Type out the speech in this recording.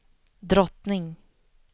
drottning